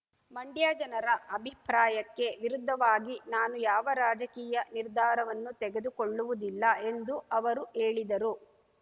ಮಂಡ್ಯ ಜನರ ಅಭಿಪ್ರಾಯಕ್ಕೆ ವಿರುದ್ಧವಾಗಿ ನಾನು ಯಾವ ರಾಜಕೀಯ ನಿರ್ಧಾರವನ್ನೂ ತೆಗೆದುಕೊಳ್ಳುವುದಿಲ್ಲ ಎಂದು ಅವರು ಹೇಳಿದರು